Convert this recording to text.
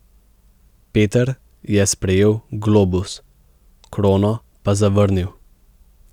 Peter je sprejel globus, krono pa zavrnil.